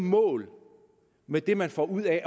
mål med det man får ud af